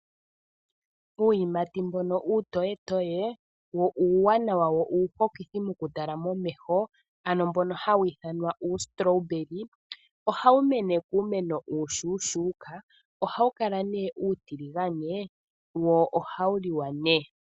Uuyimati mbono uutoyetoye wo uuwanawa nuuhokithi okutalwa momeho ano mbono hawu ithanwa uustrawberry ohawu mene kuumeno uushushuka no hawu kala uutilingane wo ohawu liwa née.